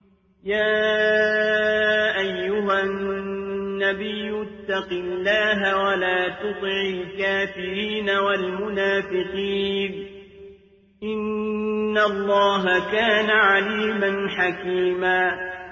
يَا أَيُّهَا النَّبِيُّ اتَّقِ اللَّهَ وَلَا تُطِعِ الْكَافِرِينَ وَالْمُنَافِقِينَ ۗ إِنَّ اللَّهَ كَانَ عَلِيمًا حَكِيمًا